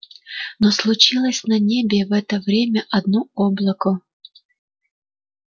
но случилось на небе в это время одно облако